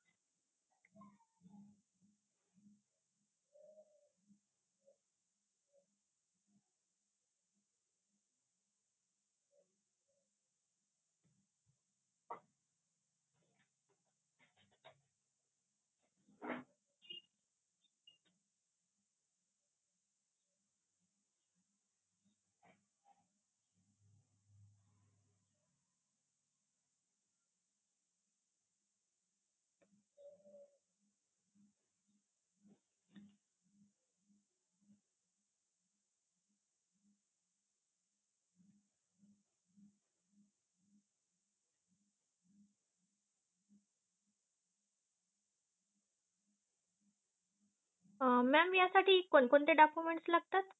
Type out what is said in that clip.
अह mam यासाठी कोणकोणते document लागतात